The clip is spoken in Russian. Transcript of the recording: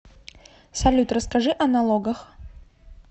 салют расскажи о налогах